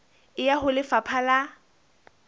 e ya ho lefapha la